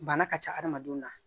Bana ka ca adamadenw na